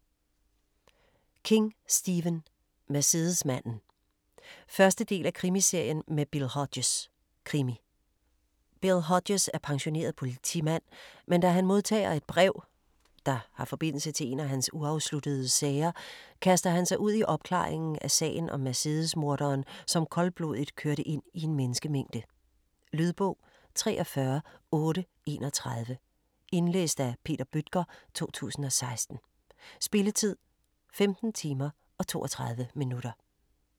King, Stephen: Mercedesmanden 1. del af Krimiserien med Bill Hodges. Krimi. Bill Hodges er pensioneret politimand, men da han modtager et brev, der har forbindelse til en af hans uafsluttede sager, kaster han sig ud i opklaringen af sagen om Mercedesmorderen, som koldblodigt kørte ind i en menneskemængde. Lydbog 43831 Indlæst af Peter Bøttger, 2016. Spilletid: 15 timer, 32 minutter.